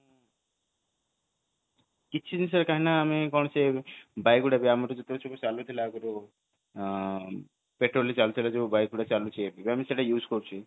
କିଛି ବିଷୟରେ କାହିଁକି ନା ଆମେ କଣ ସେ ଚାଲିଥିଲା ଆଗରୁ ପେଟ୍ରୋଲରେ ଚାଲିଥିଲା ଆଗରୁ bike ଗୁଡା ଚାଲିଥିଲା ସେଇଟା use କରୁଛି